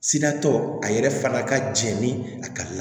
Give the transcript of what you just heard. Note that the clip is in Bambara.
Siratɔ a yɛrɛ fana ka jɛn ni a ka la